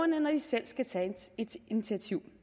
når de selv skal tage et initiativ